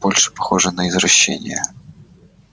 больше похоже на извращение